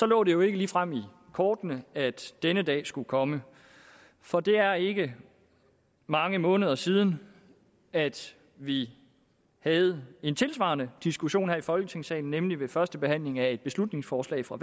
lå det jo ikke ligefrem i kortene at denne dag skulle komme for det er ikke mange måneder siden at vi havde en tilsvarende diskussion her i folketingssalen nemlig ved førstebehandlingen af et beslutningsforslag fra